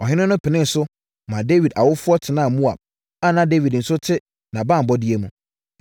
Ɔhene no penee so, maa Dawid awofoɔ tenaa Moab a na Dawid nso te nʼabanbɔeɛ mu.